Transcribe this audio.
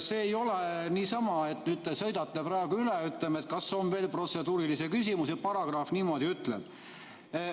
See ei ole niisama, et nüüd te sõidate üle, ütlete, et kas on veel protseduurilisi küsimusi, paragrahv niimoodi ütleb.